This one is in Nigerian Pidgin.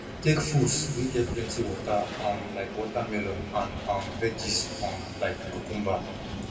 take fruits wey get plenty water um like watermelon and um veggies um like cucumber